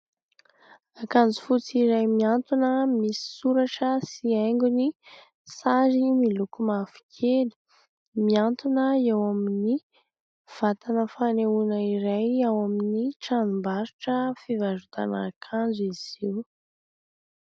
Akanjo fotsy iray mihantona, misy soratra sy haingony, sary miloko mavokely, mihantona eo amin'ny vatana fanehoana iray ao amin'ny tranombarotra fivarotana akanjo izy io.